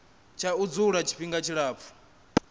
tsha u dzula tshifhinga tshilapfu